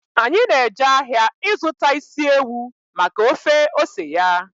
Anyị na-eje ahịa ịzụta isi ewu maka ofe ose ya